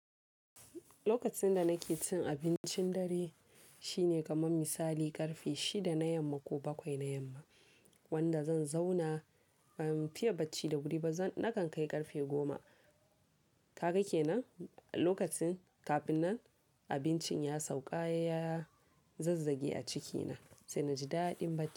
Lokacin da nake cin abincin dare shine kamar misali ƙarfe shida na yamma ko bakwai na yamma wanda zan zauna ban fiye bacci da wuri ba nakan kai ƙarfe goma. Ka ga ke nan lokacin kafin nan abincin ya sauƙa ya zazzage a cikina sai na ji daɗin bacci.